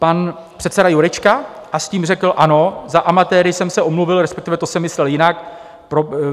Pan předseda Jurečka a s tím (?) řekl: Ano, za amatéry jsem se omluvil, respektive to jsem myslel jinak.